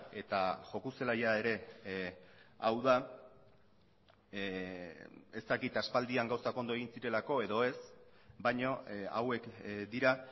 eta joko zelaia ere hau da ez dakit aspaldian gauzak ondo egin zirelako edo ez baina hauek dira